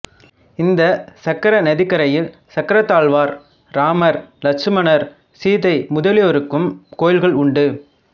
இந்த சக்கர நதிக்கரையில் சக்கரத்தாழ்வார் ராமர் லட்சுமணர் சீதை முதலியோருக்கும் கோவில்கள் உண்டு